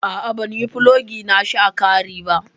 A'a ban yi fulogi nashi a kari ba.